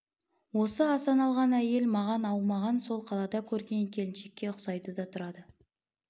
осы асан алған әйел маған аумаған сол қалада көрген келіншекке ұқсайды да тұрады